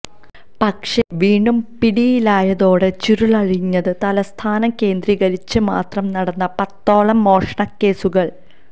പക്ഷേ വീണ്ടും പിടിയിലായതോടെ ചുരുളഴിഞ്ഞത് തലസ്ഥാനം കേന്ദ്രീകരിച്ച് മാത്രം നടന്ന പത്തോളം മോഷണക്കേസുകൾ